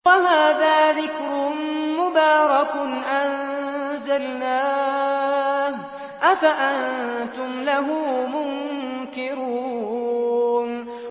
وَهَٰذَا ذِكْرٌ مُّبَارَكٌ أَنزَلْنَاهُ ۚ أَفَأَنتُمْ لَهُ مُنكِرُونَ